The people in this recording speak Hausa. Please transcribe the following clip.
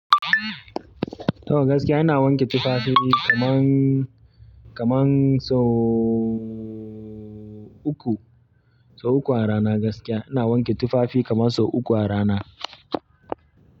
Toh gaskiya ina wanke tufafi kaman, kaman sau uku, sau uku a rana gaskiya. Ina wanke tufafi kaman sau uku a rana.